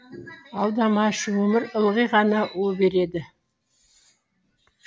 алдамашы өмір ылғи ғана у береді